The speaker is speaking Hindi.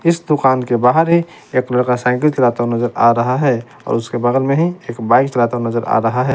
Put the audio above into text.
इस दुकान के बाहर ही एक लड़का साइकिल चलाता नजर आ रहा है और उसके बगल में ही एक बाइक चलाता नजर आ रहा है।